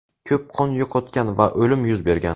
Ko‘p qon yo‘qotgan va o‘lim yuz bergan.